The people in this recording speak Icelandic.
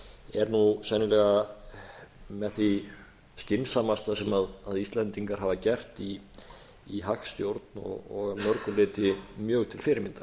er nú sennilega með því skynsamasta sem íslendingar hafa gert í hagstjórn og að mörgu leyti mjög til fyrirmyndar